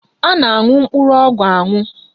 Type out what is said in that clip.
A na-aṅụ mkpụrụ ọgwụ aṅụ